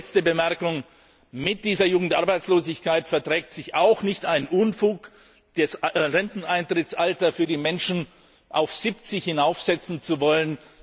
Letzte Bemerkung Mit dieser Jugendarbeitslosigkeit verträgt sich auch nicht der Unfug, das Renteneintrittsalter für die Menschen auf 70 hinaufsetzen zu wollen.